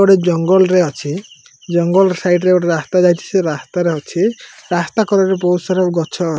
ଏପଟେ ଜଙ୍ଗଲ ରେ ଅଛି ଜଙ୍ଗଲ ସାଇଡ୍ ରେ ଗୋଟେ ରାସ୍ତା ଯାଇଚି ସେ ରାସ୍ତା ରେ ଅଛି ରାସ୍ତା କଡ଼ରେ ବହୁତ୍ ସାରା ଗଛ --